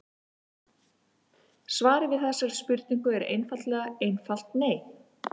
Svarið við þessari spurningu er eiginlega einfalt nei.